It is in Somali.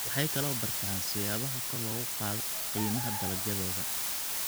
Waxay kaloo bartaan siyaabaha kor loogu qaado qiimaha dalagyadooda.